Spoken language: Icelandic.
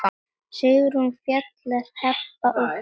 Sigrún, Fjalar, Heba og Högni.